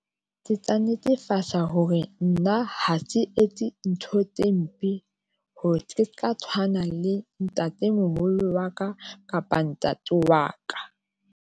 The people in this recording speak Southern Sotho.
Ke tla netefatsa hore nna ha se etse ntho tse mpe hore ke se ka tshwana le ntatemoholo wa ka kapa ntate wa ka.